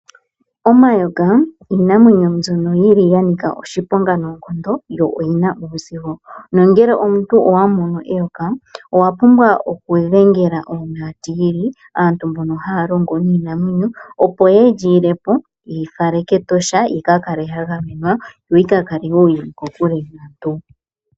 Omayoka iinamwenyo mbyono yili yanika oshiponga noonkondo, yo oyina uuzigo nongele omuntu owa mono eyoka owa pumbwa oku dhengela oonaatili, aantu mbono mbono haya longo niinamwenyo, opo yelyi ile po yeli fale kEtosha, lyika kale lya gamenwa, yo yika kale yili kokule.